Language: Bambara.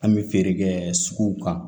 An bɛ feere kɛ suguw kan